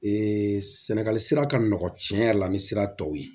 sɛnɛgali sira ka nɔgɔn tiɲɛ yɛrɛ la ni sira tɔw ye